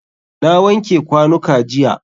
Na wanke kwanuka jiya.